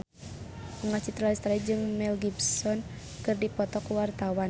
Bunga Citra Lestari jeung Mel Gibson keur dipoto ku wartawan